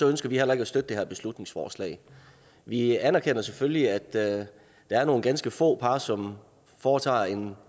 ønsker vi heller ikke at støtte det her beslutningsforslag vi anerkender selvfølgelig at der er nogle ganske få par som foretager en